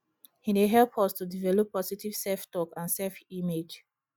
e dey help us to develop positive selftalk and selfimage